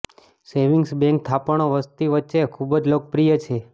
savings bank થાપણો વસ્તી વચ્ચે ખૂબ જ લોકપ્રિય છે